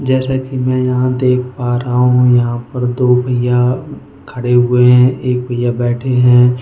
जैसा कि मैं यहां देख पा रहा हूं यहां पर दो भैया खड़े हुए हैं एक भैया बैठे हैं।